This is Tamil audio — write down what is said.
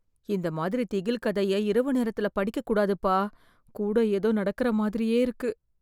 இந்த மாதிரி திகில் கதைய இரவு நேரத்துல படிக்க கூடாதுப்பா, கூட ஏதோ நடக்குற மாதிரியே இருக்கு?